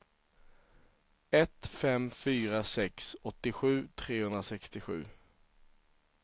ett fem fyra sex åttiosju trehundrasextiosju